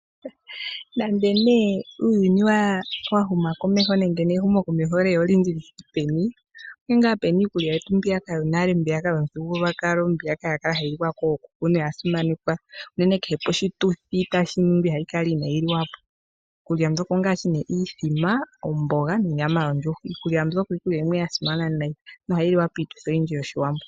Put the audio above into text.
Nande ne uuyuni wahuma komeho nenge nehumo komeho leya olindji lithike peni, onke nga pena iikulya yetu mbiyaka yonale mbiyaka yomuthigululwakalo mbiyaka yakala hayi liwa kookuku na oyasimanekwa uunene kehe poshituthi tashiningwa ihayi kala inayiliwa po. Iikulya mbyoka ongaashi ne, iithima, omboga nonyama yondjuhwa. Iikulya mbyoka, iikulya yimwe yasimana nayi na ohayi liwa kiituthi oyindji yoshiwambo.